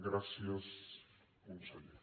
gràcies conseller